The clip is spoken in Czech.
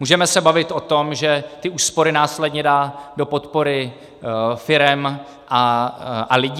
Můžeme se bavit o tom, že ty úspory následně dá do podpory firem a lidí.